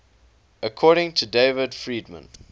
according to david friedman